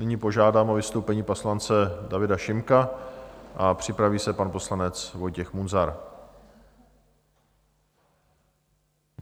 Nyní požádám o vystoupení poslance Davida Šimka a připraví se pan poslanec Vojtěch Munzar.